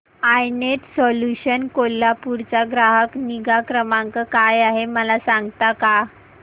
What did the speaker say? I Net Solutions Kolhapur चा ग्राहक निगा क्रमांक काय आहे मला सांगता का